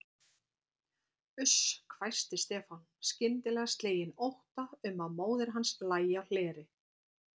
Uss hvæsti Stefán, skyndilega sleginn ótta um að móðir hans lægi á hleri.